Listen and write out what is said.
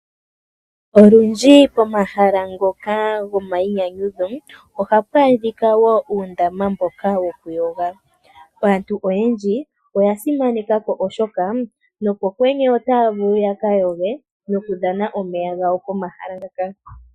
Olundji pomahala ngoka gomainyanyudho ohapu adhika wo uundama mboka wokuyoga. Aantu oyendji oya simaneka ko, oshoka nopokwenye otaya vulu ya ka yoge, nokudhana omeya gawo pomahala ngaka.